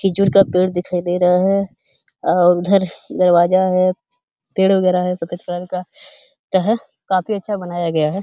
खीजूर का पेड़ दिखाई दे रहा है अ उधर दरवाजा है पेड़ वागेरा है सफेद कलर का। क्या है काफी अच्छा बनाया गया है।